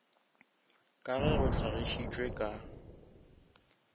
ka ge go hlagišitšwe ka